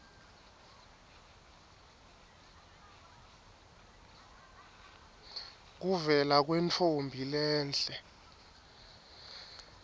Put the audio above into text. kuvela kwentfombi lenhle